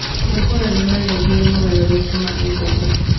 ũkoroni warehire mogarũrũku ma ũndũire.